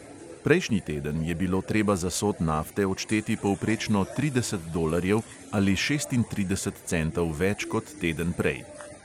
Prejšnji teden je bilo treba za sod nafte odšteti povprečno trideset dolarjev ali šestintrideset centov več kot teden prej.